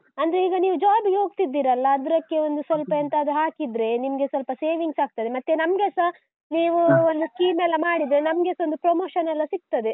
ಅಂದ್ರೆ ಈಗ ನೀವು, job ಇಗೆ ಹೋಗ್ತಿದ್ದೀರಲ್ಲ?!ಅದ್ರಕ್ಕೆ ಒಂದು ಸ್ವಲ್ಪ ಎಂತಾದ್ರೂ ಹಾಕಿದ್ರೆ ನಿಮಗೆ ಸ್ವಲ್ಪ saving ಆಗ್ತದೆ. ಮತ್ತೆ ನಮ್ಗೆಸ ನೀವು ಒಂದು scheme ಎಲ್ಲಾ ಮಾಡಿದ್ರೆ, ನಮ್ಗೆಸ ಒಂದು promotion ಎಲ್ಲಾ ಸಿಗ್ತದೆ.